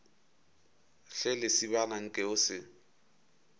hle lesibana nke o se